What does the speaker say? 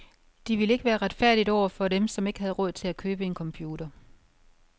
Det ville ikke være retfærdigt over for dem, som ikke havde råd til at købe en computer.